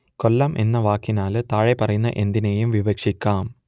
കൊല്ലം എന്ന വാക്കിനാൽ താഴെപ്പറയുന്ന എന്തിനേയും വിവക്ഷിക്കാം